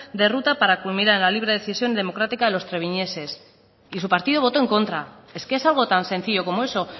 de ruta para culminar la libre decisión democrática de los treviñeses y su partido votó en contra es que es algo tan sencillo como eso